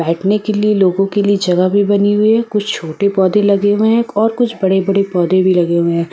बैठने के लिए लोगों के लिए जगह भी बनी हुई है कुछ छोटे पौधे लगे हुए हैं और कुछ बड़े-बड़े पौधे भी लगे हुए हैं।